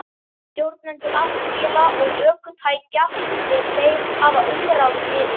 Stjórnendur aflvéla og ökutækja er þeir hafa umráð yfir.